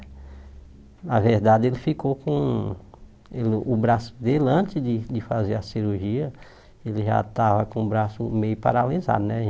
Na verdade, ele ficou com... O braço dele, antes de de fazer a cirurgia, ele já estava com o braço meio paralisado, né?